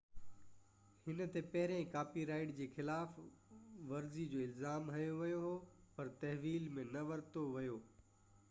هن تي پهريان ڪاپي رائيٽ جي خلاف ورزي جو الزام هنيو ويو هو پر تحويل ۾ نه ورتو ويو